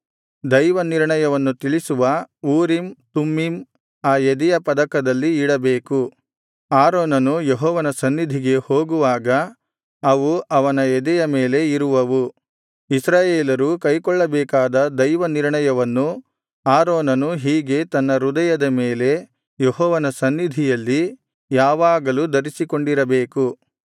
ದೈವನಿರ್ಣಯವನ್ನು ತಿಳಿಸುವ Urim Thummim ಆ ಎದೆಯ ಪದಕದಲ್ಲಿ ಇಡಬೇಕು ಆರೋನನು ಯೆಹೋವನ ಸನ್ನಿಧಿಗೆ ಹೋಗುವಾಗ ಅವು ಅವನ ಎದೆಯ ಮೇಲೆ ಇರುವವು ಇಸ್ರಾಯೇಲರು ಕೈಕೊಳ್ಳಬೇಕಾದ ದೈವನಿರ್ಣಯವನ್ನು ಆರೋನನು ಹೀಗೆ ತನ್ನ ಹೃದಯದ ಮೇಲೆ ಯೆಹೋವನ ಸನ್ನಿಧಿಯಲ್ಲಿ ಯಾವಾಗಲೂ ಧರಿಸಿಕೊಂಡಿರಬೇಕು